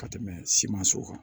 Ka tɛmɛ simanso kan